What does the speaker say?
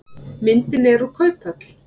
Myndin er úr kauphöll.